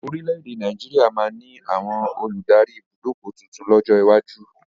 Orílédé Nàìjíríà máa ni àwọn olùdarí ibùdókọ̀ tuntun lọ́jọ́ iwájú